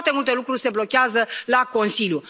Foarte multe lucruri se blochează la Consiliu.